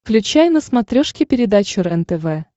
включай на смотрешке передачу рентв